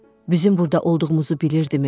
Bizim burada olduğumuzu bilirdimi?